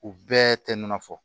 U bɛɛ tɛ nɔnɔ fɔ